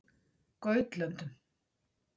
Gautlöndum